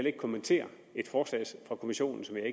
ikke kommentere et forslag fra kommissionen som jeg